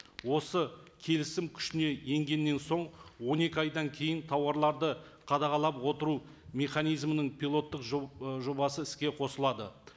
осы келісім күшіне енгеннен соң он екі айдан кейін тауарларды қадағалап отыру механизмінің пилоттық ы жобасы іске қосылады